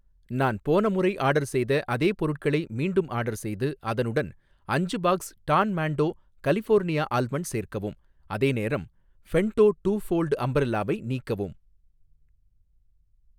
நான் போன முறை ஆர்டர் செய்த அதே பொருட்களை மீண்டும் ஆர்டர் செய்து, அதனுடன் அஞ்சு box Don Monte California almond சேர்க்கவும், அதேநேரம் ஃபென்டோ டூ ஃபோல்ட் அம்பரல்லாவை நீக்கவும்.